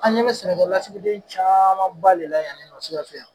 An ɲɛ bɛ sɛnɛkɛlasigiden caamanba le la yan nin nɔ Sikasso yan.